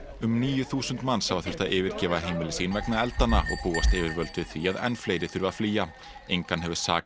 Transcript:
um níu þúsund manns hafa þurft að yfirgefa heimili sín vegna eldanna og búast yfirvöld við því að enn fleiri þurfi að flýja engan hefur sakað